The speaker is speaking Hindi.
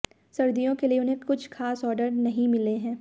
सर्दियों के लिए भी उन्हें कुछ खास ऑर्डर नहीं मिले हैं